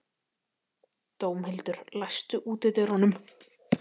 Dómhildur, læstu útidyrunum.